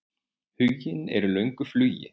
Huginn er í löngu flugi.